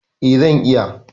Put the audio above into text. E, zan iya.